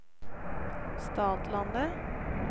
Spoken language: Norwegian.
Stadlandet